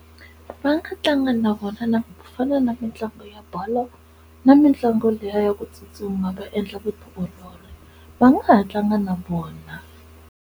Va nga tlanga na vona na ku fana na mitlangu ya bolo na mitlangu liya ya ku tsutsuma va endla vutiolori va nga ha tlanga na vona.